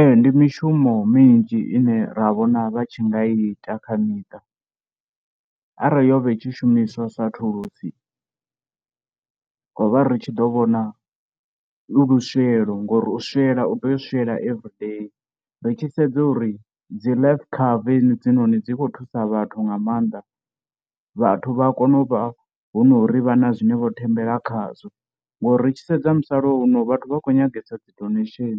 Ee ndi mishumo minzhi ine ra vhona vha tshi ngai ita kha miṱa, arali yo vha itshi shumiswa sa thulusi ro vha ri tshi ḓo vhona lu luswieḽo ngori u swiela ri tea u swiela everyday ri tshi sedza uri dzi life cover hedzinoni dzi khou thusa vhathu nga maanḓa. Vhathu vha kone u vha hu no ri vha na zwine vho thembela khazwo, ngori ri tshi sedza musalauno vhathu vha khou nyangesa dzi donation,